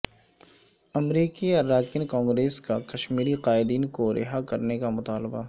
امریکی اراکین کانگریس کاکشمیری قائدین کو رہا کرنے کا مطالبہ